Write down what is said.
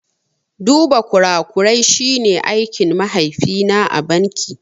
Duba kurakurai shi ne aikin mahaifi na a banki